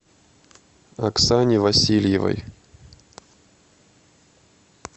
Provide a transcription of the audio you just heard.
оксане васильевой